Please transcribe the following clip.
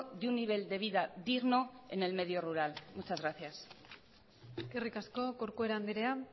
de un nivel de vida digno en el medio rural muchas gracias eskerrik asko corcuera andrea